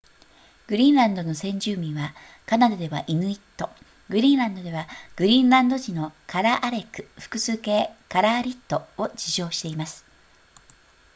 グリーンランドの先住民はカナダではイヌイットグリーンランドではグリーンランド人のカラアレク複数形カラアリットを自称しています